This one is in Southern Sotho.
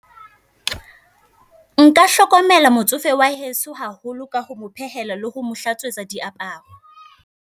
Nka hlokomela motsofe wa heso haholo ka ho mo phehela, le ho mo hlatswetsa diaparo.